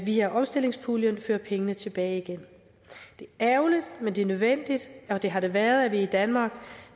via omstillingspuljen fører penge tilbage igen det er ærgerligt men det er nødvendigt og det har det været for at vi i danmark